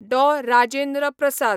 डॉ. Rajendra प्रसाद